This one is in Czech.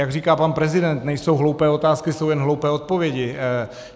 Jak říká pan prezident, nejsou hloupé otázky, jsou jen hloupé odpovědi.